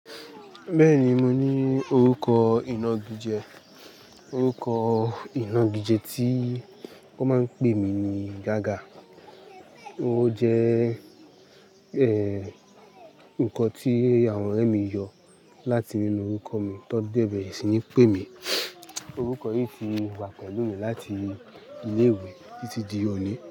Bẹ́ẹ̀ni, mo ní orúkọ ìnagijẹ. Orúkọ ìnagijẹ tí wón máa ń pè mí ní Gaga. Ó jẹ́ ẹ́, ǹkan tí àwọn ọ̀rẹ́ mi yọ láti nínú orúkọ mi tó dé bẹ̀re sì ńi pè mí. Orúkọ yìí tì wà pẹ̀lú mi láti ilé ìwé títí di òní.